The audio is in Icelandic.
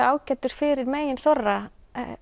ágætur fyrir meginþorra